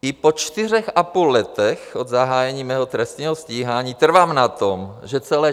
I po čtyřech a půl letech od zahájení mého trestního stíhání trvám na tom, že celé